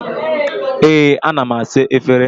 Ee, ana m asa efere.